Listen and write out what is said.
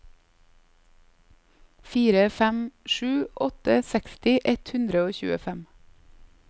fire fem sju åtte seksti ett hundre og tjuefem